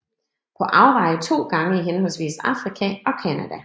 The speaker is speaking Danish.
På Afveje to gange i henholdsvis Afrika og Canada